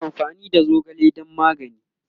ana amfani da zogale dan magani